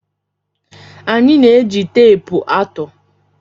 Anyị na-eji teepu atụ.